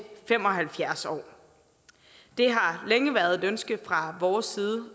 fem og halvfjerds år det har længe været et ønske fra vores side